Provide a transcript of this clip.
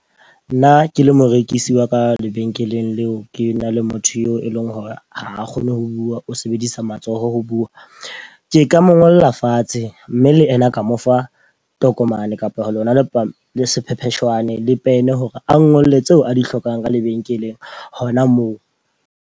Nna ke le morekisi wa ka lebenkeleng leo ke na le motho eo e leng hore ha a kgone ho bua, o sebedisa matsoho ho bua. Ke ka mo ngolla fatshe mme le ena a ka mo fa tokomane kapa lona le sephepheshwaneng le pene hore a ngole tseo a di hlokang ka lebenkeleng hona moo.